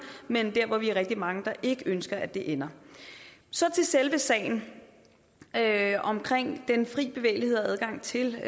men det er der hvor vi er rigtig mange der ikke ønsker at det ender så til selve sagen omkring den fri bevægelighed og adgang til